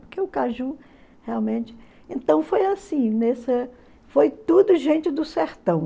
Porque o caju realmente... Então foi assim foi tudo gente do sertão.